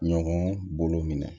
Ɲɔgɔn bolo minɛ